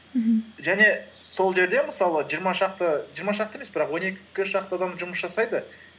мхм және сол жерде мысалы жиырма шақты жиырма шақты емес бірақ он екі шақты адам жұмыс жасайды